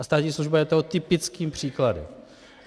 A státní služba je toho typickým příkladem.